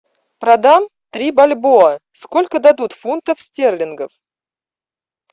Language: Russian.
продам три бальбоа сколько дадут фунтов стерлингов